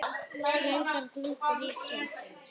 Reynist grúppur í sér bera.